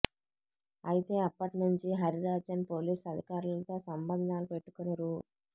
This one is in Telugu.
అయితే అప్పటి నుండి హరిరాజన్ పోలీసు అధికారులతో సంబంధాలు పెట్టుకుని రూ